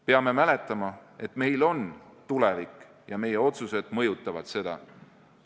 Peame mäletama, et meil on tulevik ja meie otsused mõjutavad seda.